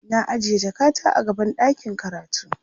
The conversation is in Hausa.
na ajiye jakata a gaban ɗakin karatu